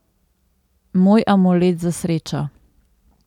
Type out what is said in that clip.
Moj amulet za srečo.